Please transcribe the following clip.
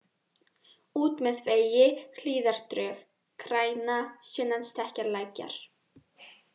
Út með vegi, Hlíðardrög, Græna, Sunnan Stekkjarlækjar